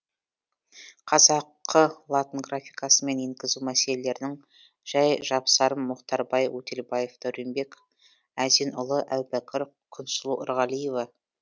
қазақы латын графикасымен енгізу мәселелерінің жай жапсарым мұхтарбай өтелбаев дәуренбек әзенұлы әубәкір күнсұлу ерғалиева